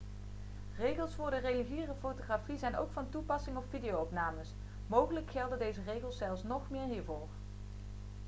regels voor de reguliere fotografie zijn ook van toepassing op video-opnames mogelijk gelden deze regels zelfs nog meer hiervoor